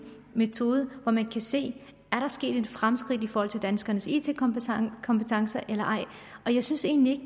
metode så man kan se er der sket et fremskridt i forhold til danskernes it kompetencer kompetencer eller ej og jeg synes egentlig